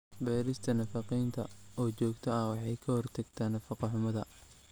Baarista nafaqeynta oo joogto ah waxay ka hortagtaa nafaqo-xumada.